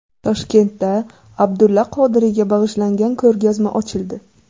Toshkentda Abdulla Qodiriyga bag‘ishlangan ko‘rgazma ochildi.